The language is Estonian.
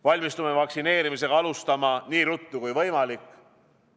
Valmistume vaktsineerimist alustama nii ruttu kui võimalik.